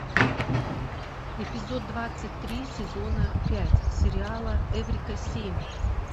эпизод двадцать три сезона пять сериала эврика семь